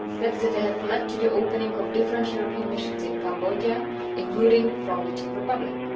steps that have led to the opening of different European missions in Cambodia, including from the Czech Republic.